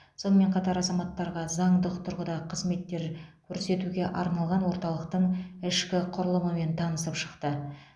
сонымен қатар азаматтарға заңдық тұрғыда қызметтер көрсетуге арналған орталықтың ішкі құрылымымен танысып шықты